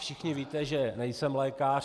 Všichni víte, že nejsem lékař.